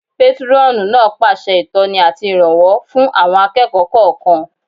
Pétúrọ̀nù náà pèsè ìtọ́ni àti ìrànwọ́ fún àwọn akẹ́kọ̀ọ́ kọ̀ọ̀kan